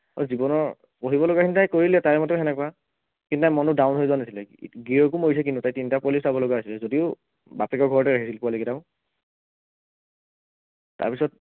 তাই জীৱনৰ পঢ়িব লগা খিনি তাই কৰিলে তাইৰ মতে সেনেকুৱা, কিম্বা মনটো down হৈ যোৱা নাছিলে গিৰিয়েকো মৰিছে কিন্তু তাই তিনিটা পোৱালী চাব লগা হৈছিলে যদিও বাপেকৰ ঘৰতে আহিল পোৱালীকেইটাও তাৰপাছত